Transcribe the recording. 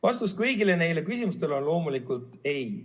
Vastus kõigile neile küsimustele on loomulikult ei.